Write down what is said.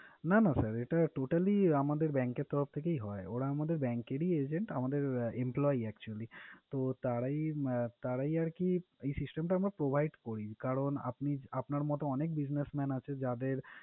না না sir এটা totally আমাদের bank এর তরফ থেকেই হয়। ওরা আমাদের bank রই এজেন্ট, আমাদের employee actually । তো তারাই উম তো তারাই আরকি এই system টা আমরা provide করি। কারণ, আপনি আপনার মতন অনেক businessman আছে যাদের